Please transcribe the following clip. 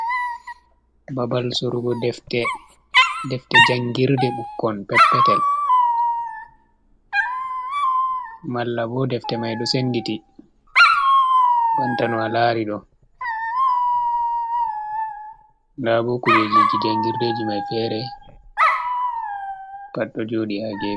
Babal surugo defte, defte jangirde ɓukkon peppetel, malla bo defte mai ɗo senditi banta no a lari ɗo, ndabu kujeji je jangirdeji mai fere pat ɗo joɗi ha gefi.